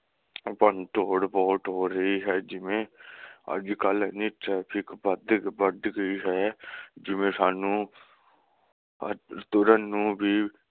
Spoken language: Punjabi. ਭੰਨਤੋੜ ਬਹੁਤ ਹੋ ਰਹੀ ਹੈ ਜਿਵੇ ਅਜਕਲ ਇਨੀ traffic ਵਾਦੀ ਵੱਧ ਗਈ ਹੈ ਜਿਵੇ ਸਾਨੂੰ ਤੁਰਨ ਨੂੰ ਵੀ